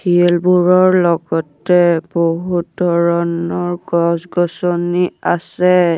শিলবোৰৰ লগতে বহুত ধৰণৰ গছ-গছনি আছে।